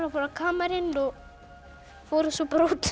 fóru á kamarinn og fór svo bara út